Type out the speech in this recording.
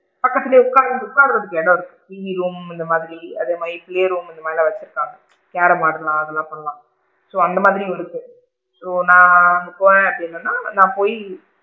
பக்கத்துலே உட்காரு உட்காருரதுக்கு இடம் இருக்கு, டிவி room இந்த மாதிரி அதே மாதிரி room அந்த மாதிரிலா வச்சு இருக்காங்க கேரம் ஆடலாம் அதலா பண்ணலாம். so அந்த மாதிரியும் இருக்கும் so நான் அங்க போனேன் அப்படின்னு சொன்னா நான் அங்க போயி,